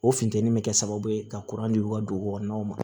O funtɛni bɛ kɛ sababu ye ka ka dugu kɔnɔnaw ma